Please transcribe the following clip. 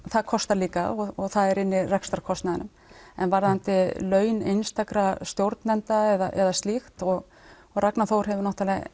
það kostar líka og það er inni í rekstrarkostnaðinum en varðandi laun einstakra stjórnenda eða slíkt og og Ragnar Þór hefur